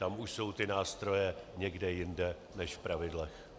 Tam už jsou ty nástroje někde jinde než v pravidlech.